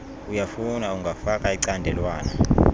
uyafuna ungafaka icandelwana